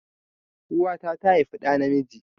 Uwa ta tà haifi dà na miji